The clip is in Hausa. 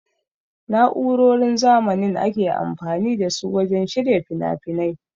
Na'urorin zamanin ake amfani da su wajen shirya finafinai.